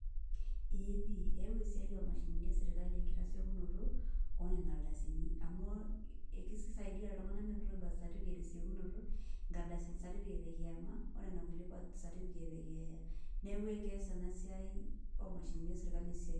Ee pi. Eeu esiai omashinini eserkali enkitasiokinoto, onena ardasini. Amu kisaidia iltung'anak menoto birth certificate tesiokinoto, certificate ekiama, onena kulie birth certificate ekeeyia. Neeku ekes enasiai omashinini eserkali esiai.